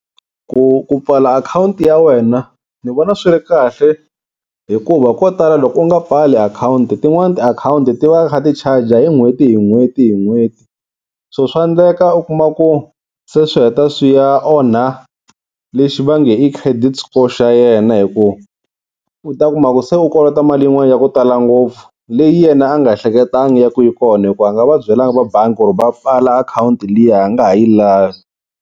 Ku ku pfala akhawunti ya wena ni vona swi ri kahle hikuva ko tala loko u nga pfali akhawunti tin'wani tiakhawunti ti va ti kha ti charger hi n'hweti hi n'hweti hi n'hweti, So swa endleka u kuma ku se swi heta swi ya onha lexi va nge i credit score xa yena hi ku u ta kuma ku se u kolota mali yin'wani ya ku tala ngopfu, leyi yena a nga ehleketangi ya ku yi kona hikuva a nga va byelaka va bangi ku ri va pfala akhawunti liya a nga ha yi lavi.